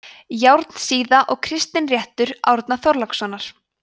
járnsíða og kristinréttur árna þorlákssonar